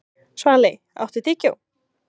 Svali, áttu tyggjó?